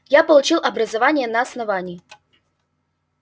я получил образование на основании